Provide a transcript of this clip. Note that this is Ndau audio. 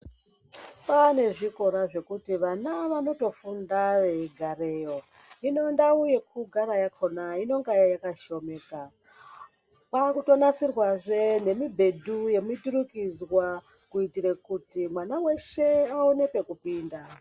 Kwane zvikora zvekuti vana vanotofunda veigareyo. Hino ndau yekugara yakhona inenge yakashomeka. Kwakutonasirwazve nemibhedhu yemiturikidzwa kuitire kuti mwana weshe aone pekupinda.